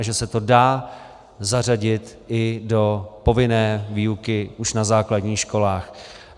A že se to dá zařadit i do povinné výuky už na základních školách.